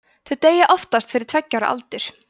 þau deyja oftast fyrir tveggja ára aldur